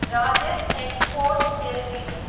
Rajesh exports Ltd